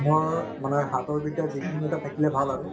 মোৰ মানে হাতৰ বিদ্যা যিকোনো এটা থাকিলে ভাল আৰু